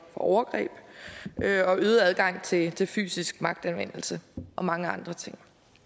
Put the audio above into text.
overgreb øget adgang til til fysisk magtanvendelse og mange andre ting